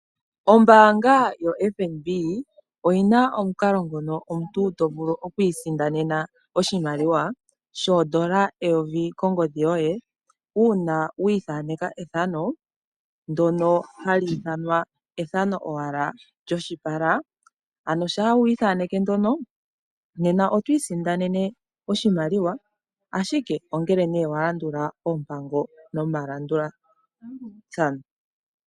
Ombaanga yoFNB oyina omukalo nguno omuntu tovulu okwiisindanena oshimaliwa shoondola eyovi limwe kongodhi yoye uuna wiithaneka ethano ndono hali ithanwa ethano owala lyoshipala, ano shaa we li ithaneke nena oto isindanene oshimaliwa shoka ,ashike ongele walandula oompango nomalandulathano.